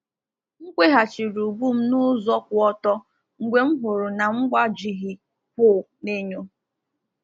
M kweghachiri ubu m n’ụzọ kwụ ọtọ mgbe m hụrụ na m gbajighị kwụ n’enyo.